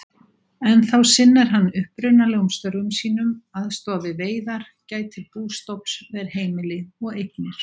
Ennþá sinnir hann upprunalegum störfum sínum, aðstoðar við veiðar, gætir bústofns, ver heimili og eignir.